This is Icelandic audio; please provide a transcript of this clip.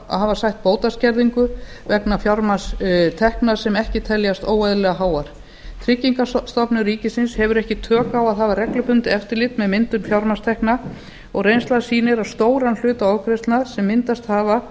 að hafa sætt bótaskerðingu vegna fjármagnstekna sem ekki teljast óeðlilega háar tryggingastofnun ríkisins hefur ekki tök á að hafa reglubundið eftirlit með myndun fjármagnstekna og reynslan sýnir að stóran hluta ofgreiðslna sem myndast hafa